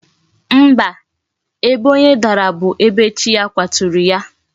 Mba, ebe onye dara bu ebe chi ya kwaturu ya